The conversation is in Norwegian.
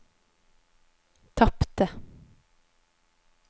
tapte